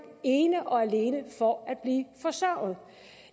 ene og alene for at blive forsørget